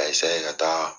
A ka taa